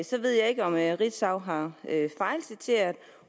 så ved jeg ikke om ritzau har fejlciteret